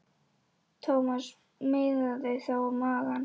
Thomas miðaði þá á magann.